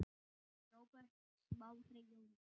Róbert Smári Jónsson